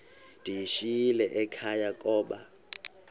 ndiyishiyile ekhaya koba